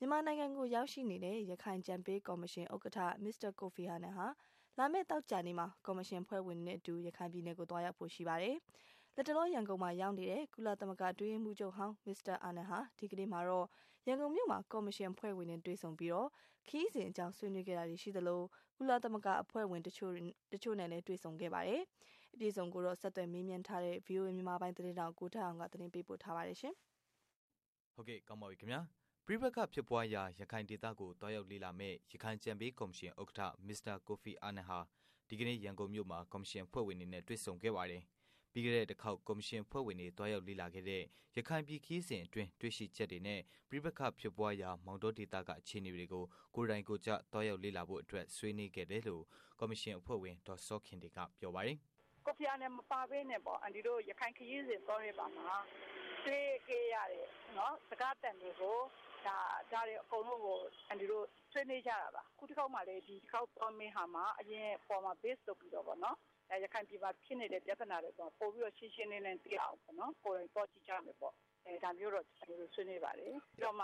မြန်မာနိုင်ငံကို ရောက်ရှိနေတဲ့ ရခိုင်အကြံပေး ကော်မရှင် ဥက္ကဌ မစ္စတာ ကိုဖီအာနန် ဟာ လာမယ့် သောကြာနေ့မှာ ကော်မရှင် အဖွဲ့ဝင်တွေနဲ့အတူ ရခိုင် ပြည်နယ်ကို သွားရောက်ဖို့ ရှိပါတယ်။ လတ်တလော ရန်ကုန်မှာ ရောက်နေတဲ့ ကုလသမဂ္ဂ အတွင်းရေးမှူးချုပ်ဟောင်း မစ္စတာ အာနန် ဟာ ဒီကနေ့မှာတော့ ရန်ကုန်မြို့မှာ ကော်မရှင် အဖွဲ့ဝင်တွေနဲ့ တွေ့ဆုံပြီး ခရီးစဉ်အကြောင်း ဆွေးနွေးခဲ့တာရှိသလို ကုလသမဂ္ဂအဖွဲ့ဝင် တစ်ချို့နဲ့လည်း တွေ့ဆုံခဲ့ပါတယ်။ အပြည့်အစုံကိုတော့ ဆက်သွယ်မေးမြန်းထားတဲ့ ဗွီအိုအေ မြန်မာပိုင်း သတင်းထောက် ကိုထက်အောင်က တင်ပြပေးမှာပါ။ ပဋိပက္ခဖြစ်ပွားရာ ရခိုင်ဒေသကို သွားရောက်လေ့လာမယ့် ရခိုင်အကြံပေး ကော်မရှင် ဥက္ကဌ မစ္စတာ ကိုဖီအာနန်ဟာ ဒီကနေ့ ရန်ကုန်မြို့မှာ ကော်မရှင် အဖွဲ့ဝင်တွေနဲ့ တွေ့ဆုံခဲ့ပါတယ်။ပြီးခဲ့တဲ့ တစ်ခေါက် ကော်မရှင်အဖွဲ့ဝင်တွေ သွားရောက်လေ့လာခဲ့တဲ့ ရခိုင်ပြည် ခရီးစဉ်အတွင်း တွေ့ရှိချက်တွေနဲ့ ပဋိပက္ခဖြစ်ပွားရာ မောင်တောဒေသက အခြေအနေတွေကို ကိုယ်တိုင် ကိုယ်ကျ သွားရောက်လေ့လာဖို့အတွက် ဆွေးနွေးခဲ့တယ်လို့ ကော်မရှင် အဖွဲ့ဝင် ဒေါ်စောခင်တင့်က ပြောပါတယ်။ “ကိုဖီအာနန်မပါပဲနဲ့ပေါ့နော်အန်တီတို့ ရခိုင်ပြည်နယ်သွားတဲ့အခါမှာ တွေ့ခဲ့ရတဲ့ ကြားခဲ့ရတဲ့ စကားသံတွေကို ဒါတွေအကုန်လုံးကို အန်တီတို့ဆွေးနွေးကြတာပါ။ အခုတခေါက်မှာလည်း ဒီတခေါက်သွားမယ့်ဟာမှာ အရင်ကဟာတွေအပေါ်မှာ Base လုပ်ပြီးတော့ ရခိုင်ပြည်နယ်မှာ ဖြစ်နေတဲ့ပြဿနာတွေကို ပိုပြီးတော့ ရှင်းရှင်းလင်းလင်းသိအောင်ပေါ့ ကိုယ်တိုင်သွား ကြည့်ကြမယ်ပေါ့ ဒါမျိုးတော့ အန်တီတို့ဆွေးနွေးပါတယ်။ ပြီးတော့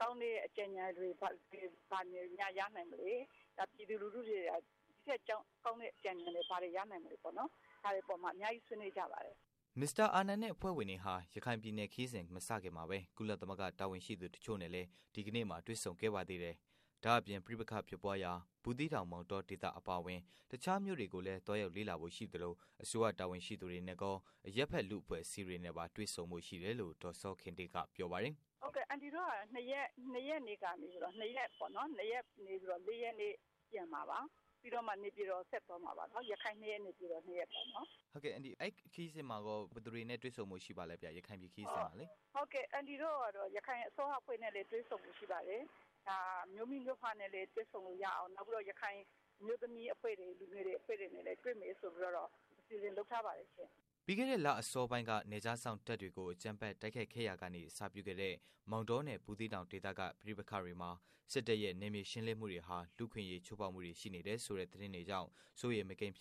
ကောင်းတဲ့အကြံ ဉာဏ်တွေများရနိုင်မလဲပေါ့နော် ၊ ပြီးတော့ ပြည်သူလူထုတွေမှာ ဒီထက်ကောင်းတဲ့ အကြံ ဉာဏ်တွေများရနိုင်မလဲပေါ့နော် ဒါတွေအပေါ်မှာ အများကြီးဆွေးနွေးကြပါတယ်။” မစ္စတာ အာနန်နဲ့ အဖွဲ့ဝင်တွေဟာ ရခိုင်ပြည်နယ် ခရီးမစခင်မှာ ကုလသမဂ္ဂ တာဝန်ရှိသူ တစ်ချို့နဲ့လည်း ဒီကနေ့မှာ တွေ့ဆုံခဲ့ပါသေးတယ်။ ဒါ့အပြင် ပဋိပက္ခဖြစ်ပွားရာ ဘူးသီးတောင် မောင်တော ဒေသအပါအဝင် တခြား မြို့တွေကို သွားရောက်လေ့လာဖို့ရှိသလို အစိုးရ တာဝန်ရှိသူတွေနဲ့ကော အရပ်ဘက်လူ့အဖွဲ့အစည်းတွေနဲ့ပါ တွေ့ဆုံဖို့ ရှိတယ်လို့ ဒေါ်စောခင်တင့်က ပြောပါတယ်။ “ဟုတ်အန်တီတို့ကတော့ ၂ ရက်နေ့ ရောက်၊ ၂ ရက်နေပြီးတော့ ၄ ရက်နေ့တော့ နေပြည်တော်ပြန်မှာပါ။ ရခိုင် ၂ ရက် နေပြည်တော် ၂ ရက်ပေါ့နော်။ မေး။ ။ ဟုတ်ကဲ့အန်တီ အဲဒီ ရခိုင်ပြည်ခရီးစဉ်မှာကော ဘယ်သူတွေနဲ့ တွေ့ဆုံဖို့ ရှိပါသလဲ။ ဖြေ။ ။ အန်တီတို့ကတော့ ရခိုင်အစိုးရ နဲ့လည်းတွေ့ဆုံဖို့ရှိပါတယ်။ မြို့မိမြို့ဖနဲ့လည်းတွေ့ဆံလို့ရအောင်၊ နောက် ရခိုင်အမျိုးသမီး၊ လူငယ်အဖွဲ့တွေနဲ့လည်း တွေ့မယ်ဆိုပြီးတော့ အစီအစဉ်လုပ်ထားပါတယ်ရှင့်။” ပြီးခဲ့တဲ့ လအစောပိုင်းက နယ်ခြားစောင့်တပ်တွေကို အကြမ်းဖက် တိုက်ခိုက်ခဲ့ရာကနေ အစပြုခဲ့တဲ့ မောင်တောနဲ့ ဘူးသီတောင် ဒေသက ပဋိပက္ခတွေမှာ စစ်တပ်ရဲ့ နယ်မြေရှင်းလင်းမှုတွေဟာ လူ့အခွင့်အရေး ချိုးဖောက်မှုတွေ ရှိနေတယ်ဆိုတဲ့ သတင်းတွေကြောင့် စိုးရိမ်မကင်း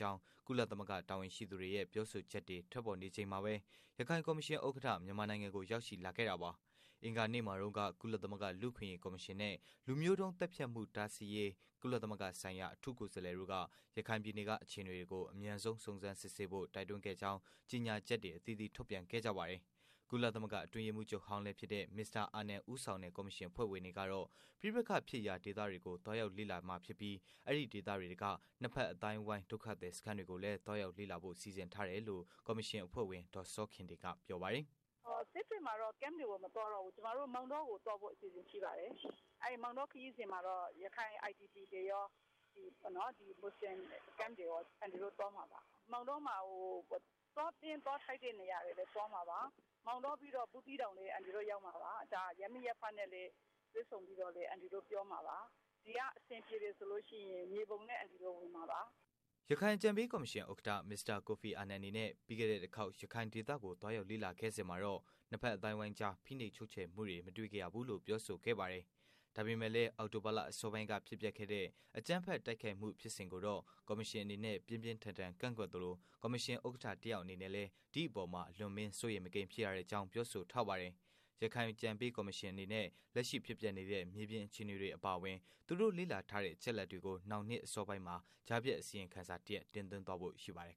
ကြောင်း ကုလသမဂ္ဂ တာဝန်ရှိသူတွေရဲ့ ပြောဆိုချက်တွေ ထွက်ပေါ်နေချိန်မှာပဲ ရခိုင်ကော်မရှင်ဥက္ကဋ္ဌ မြန်မာနိုင်ငံကို ရောက်ရှိလာခဲ့တာပါ။ အင်္ဂါနေ့မှာတုန်းကလည်း ကုလသမဂ္ဂ လူ့အခွင့်အရေးကော်မရှင်နဲ့ လူမျိုးတုန်းသတ်ဖြတ်မှု တားဆီးရေး ကုလသမဂ္ဂဆိုင်ရာ အထူးကိုယ်စားလှယ်တို့က ရခိုင်ပြည်နယ်က အခြေအနေတွေကို အမြန်ဆုံး စုံစမ်းစစ်ဆေးဖို့ တိုက်တွန်းကြောင်း ကြေညာချက်တွေ အသီးသီး ထုတ်ပြန်ခဲ့ကြပါတယ်။ ကုလသမဂ္ဂ အတွင်းရေးမှူးချုပ်ဟောင်း မစ္စတာ အာနန် ဦးဆောင်တဲ့ ကော်မရှင် အဖွဲ့ဝင်တွေကတော့ ပဋိပက္ခဖြစ်ရာဒေသတွေကို သွားရောက်မှာ ဖြစ်ပြီး အဲဒီ့ဒေသတွင်းက နှစ်ဘက် အသိုင်းအဝိုင်း ဒုက္ခသည်စခန်းတွေကိုလည်း သွားရောက်လေ့လာဖို့ စီစဉ်ထားတယ်လို့လည်း ကော်မရှင်အဖွဲ့ဝင် ဒေါ်စောခင်တင့်က ဆိုပါတယ်။ “စစ်တွေမှာတော့ Camp တွေကိုမသွားတော့ဘူး ကျမတို့ မောင်တောမှာတော့ သွားဖို့ အစီအစဉ်ရှိတယ်။ မောင်တောခရီးစဉ်မှာတော့ ရခိုင် IDP တွေရော ၊ ဒီမူဆလင် camp တွေရောသွားမှာပါ။ မောင်တောမှာ သွားသင့်သွားထိုက်တဲ့နေရာတွေပဲသွားမှာပါ။ မောင်တောပြီးတော့ ဘူးသီးတောင်လည်း ရောက်မှာပါ၊ ရပ်မိရပ်ဖနဲ့တွေ့ဆုံပြီးတော့ အန်တီတို့ပြောမှာပါ။ ဒီကအဆင်ပြေတယ်ဆိုရင် မြေပုံလည်းဝင်မှာပါ။” ရခိုင် အကြံပေး ကော်မရှင် ဥက္ကဌ မစ္စတာ ကိုဖီအာနန်အနေနဲ့ ပြီးခဲ့တဲ့ တစ်ခေါက် ရခိုင် ဒေသကို သွားရောက်လေ့လာခဲ့စဉ်မှာတော့ နှစ်ဖက် အသိုင်းအဝိုင်းကြား ဖိနှိပ်ချုပ်ခြယ်မှုတွေ မတွေ့ခဲ့ရဘူးလို့ ပြောဆိုထားပါတယ်။ ဒါပေမဲ့ အောက်တိုဘာလ အစောပိုင်းက ဖြစ်ပျက်ခဲ့တဲ့ အကြမ်းဖက် တိုက်ခိုက်မှု ဖြစ်စဉ်ကိုတော့ ကော်မရှင် အနေနဲ့ ပြင်းပြင်းထန် ထန် ကန့်ကွက်သလို ကော်မရှင် ဥက္ကဌတစ်ယောက်အနေနဲ့လည်း ဒီ့အပေါ်မှာ အလွန်အမင်း စိုးရိမ် မကင်း ဖြစ်ရကြောင်း ပြောဆိုပါတယ်။ ရခိုင်အကြံပေး ကော်မရှင်အနေနဲ့ လက်ရှိ ဖြစ်ပျက်နေတဲ့ မြေပြင်အခြေအနေတွေအပါအဝင် သူတို့ လေ့လာထားတဲ့ အချက်အလက်တွေကို နောက်နှစ် အစောပိုင်းမှာ ကြားဖြတ်အစီရင်ခံစာ တစ်ရပ် တင်သွင်းသွားဖို့ ရှိပါတယ်